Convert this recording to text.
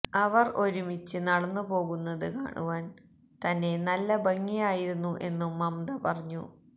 അവർ ഒരുമിച്ച് നടന്നു പോകുന്നത് കാണുവാൻ തന്നെ നല്ല ഭംഗിയായിരുന്നു എന്നും മമ്ത പറഞ്ഞു